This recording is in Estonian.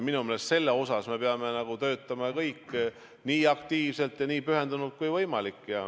Minu meelest selle heaks me peame töötama kõik nii aktiivselt ja nii pühendunult kui võimalik.